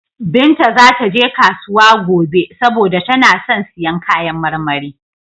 Binta za ta je kasuwa gobe saboda tana son siyan kayan marmari.